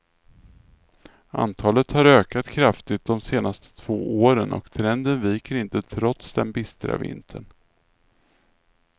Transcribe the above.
Antalet har ökat kraftigt de senaste två åren, och trenden viker inte trots den bistra vintern.